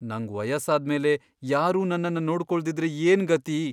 ನಂಗ್ ವಯಸ್ಸಾದ್ಮೇಲೆ ಯಾರೂ ನನ್ನನ್ನ ನೋಡ್ಕೊಳ್ದಿದ್ರೆ ಏನ್ ಗತಿ?